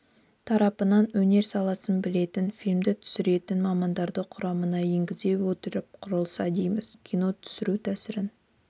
тарапынан өнер саласын білетін фильмді түсінетін мамандарды құрамына енгізе отырып құрылса дейміз кино түсіру тәсілін